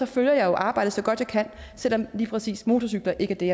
følger jeg jo arbejdet så godt jeg kan selv om lige præcis motorcykler ikke er det